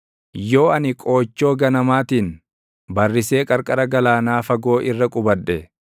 Yoo ani qoochoo ganamaatiin barrisee qarqara galaanaa fagoo irra qubadhe,